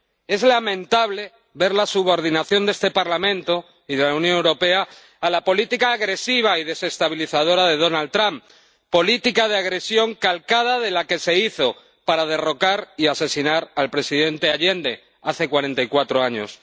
Es lamentable ver la subordinación de este Parlamento y de la Unión Europea a la política agresiva y desestabilizadora de Donald Trump, política de agresión calcada de la que se hizo para derrocar y asesinar al presidente Allende hace cuarenta y cuatro años.